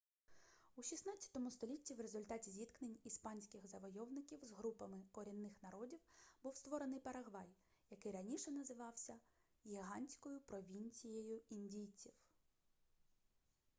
у 16 столітті в результаті зіткнень іспанських завойовників з групами корінних народів був створений парагвай який раніше називався гігантською провінцією індійців